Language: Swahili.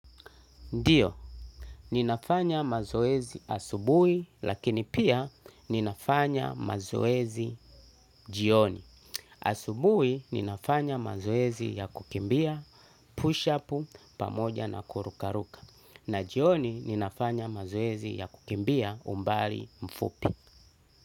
Ndiyo, ninafanya mazoezi asubuhi lakini pia ninafanya mazoezi jioni. Asubuhi ninafanya mazoezi ya kukimbia push-up pamoja na kurukaruka. Na jioni ninafanya mazoezi ya kukimbia umbali mfupi.